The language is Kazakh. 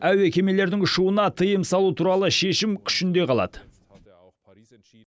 әуе кемелердің ұшуына тыйым салу туралы шешім күшінде қалады